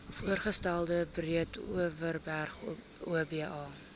voorgestelde breedeoverberg oba